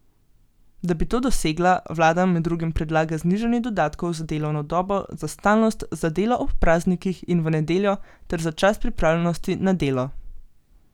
Da bi to dosegla, vlada med drugim predlaga znižanje dodatkov za delovno dobo, za stalnost, za delo ob praznikih in v nedeljo ter za čas pripravljenosti na delo.